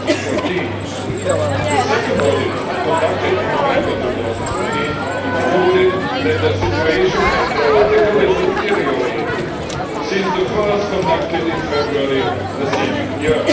2014. The second audit, conducted in November 2014, concluded that the situation had dramatically deteriorated since the first one conducted in February of the same year.